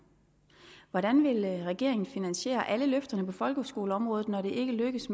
hvordan vil regeringen finansiere alle løfterne på folkeskoleområdet når det ikke lykkes